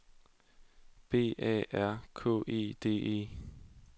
B A R K E D E